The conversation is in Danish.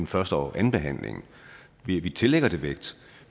første og andenbehandlingen vi tillægger det vægt